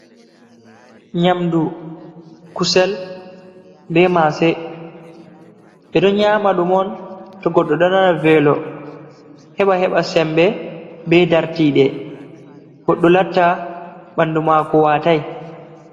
Nyamdu kusel be Mase.ɓe ɗon nyama ɗum on to Godɗo ɗo nana Velo heɓa heɓa Sembe be dartiɗe. Godɗo latta ɓandu Mako watai.